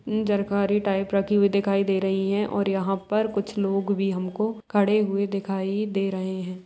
उम्म जरकारी टाइप रखी हुई दिखाई दे रही है और यहाँ पर कुछ लोग भी हमको खड़े हुए दिखी दे रहे हैं।